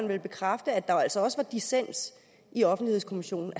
vel bekræfte at der altså også var dissens i offentlighedskommissionen